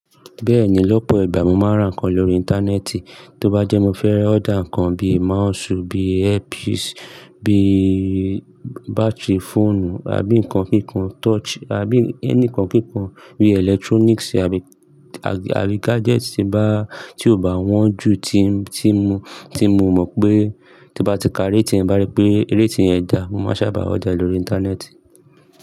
Bẹ́ẹ̀ni, lọ́pọ̀ ìgbà mo máa ń rà nǹkan lórí Íńtánẹ́ẹ̀tì. Tó bá jẹ́ mo fẹ́ order nǹkan bíi mausi, bíi earpiece, bíi bátìrí fóònù àbí nǹkan kíkan, touch àbí ẹni nǹkan kíkan bíi electronics àbí, àbí gadgets tí bá, tí ò bá wọ́n ju tí mo, tí mo, tí mo mọ̀ pé tó bá ti ka rating ti nbá rí pé rẹ́ti yen gà, mo máa n se bà ọ́dà e lórí Íńtánẹ́ẹ̀tì.